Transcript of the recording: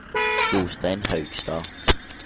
Jostein Haugstad